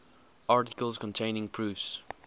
articles containing proofs